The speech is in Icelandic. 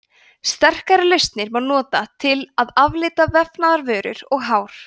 sterkari lausnir má nota til að aflita vefnaðarvörur og hár